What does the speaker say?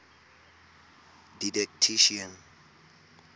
didactician